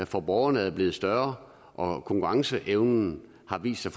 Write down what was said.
for borgerne er blevet større og konkurrenceevnen har vist sig